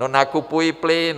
No, nakupují plyn!